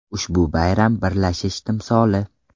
Ushbu bayram birlashish timsoli.